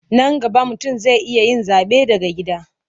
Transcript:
Nan gaba mutum zai iya yin zaɓe daga gida.